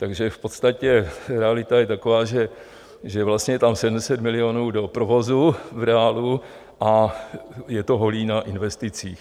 Takže v podstatě realita je taková, že vlastně je tam 700 milionů do provozu v reálu a je to holé na investicích.